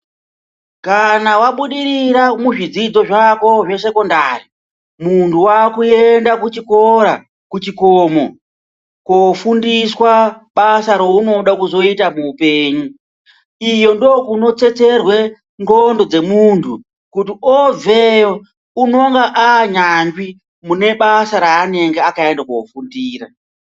Kana wabudirira muzvidzidzo zvako zvesekondari muntu wakuenda kuchikora kuchikomo kofundiswa basa raunode kuzoita muupenyu iyo ndokunotsetserwe nxlondo dzemunhu kuti obveyo unonga anyanzvi mubasa raanenge akaenda kofundira.